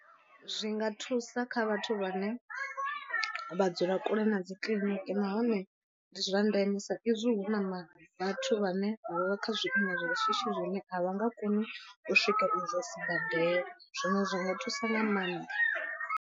Zwi nga thusa kha vhathu vhane vha dzula kule na dzi kiḽiniki nahone ndi zwa ndeme sa izwi hu na vhathu vhane vha vha kha zwiimo zwa shishi zwine a vha nga koni u swika idzo sibadela zwino zwi nga thusa nga maanḓa.